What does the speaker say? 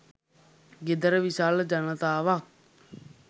ගෙදර විශාල ජනතාවක්